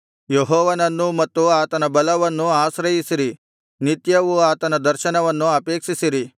ಯೆಹೋವನನ್ನೂ ಮತ್ತು ಆತನ ಬಲವನ್ನೂ ಆಶ್ರಯಿಸಿರಿ ನಿತ್ಯವೂ ಆತನ ದರ್ಶನವನ್ನು ಅಪೇಕ್ಷಿಸಿರಿ